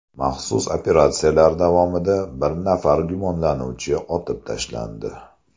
Maxsus operatsiyalar davomida bir nafar gumonlanuvchi otib tashlandi.